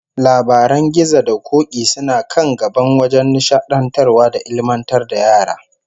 Labaran gizo da k'ok'i suna kan gaba wajen nishadantar da ilmantar da yara